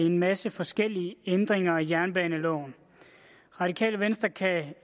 en masse forskellige ændringer af jernbaneloven radikale venstre kan